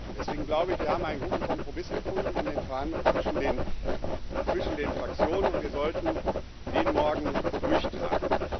Deswegen glaube ich, wir haben einen guten Kompromiss gefunden in den Verhandlungen zwischen den Fraktionen, und wir sollten den morgen durchtragen.